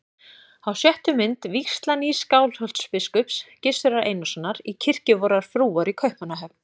Á sjöttu mynd: vígsla nýs Skálholtsbiskups, Gizurar Einarssonar, í kirkju vorrar frúar í Kaupmannahöfn.